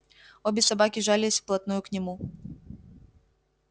обе собаки жались вплотную к нему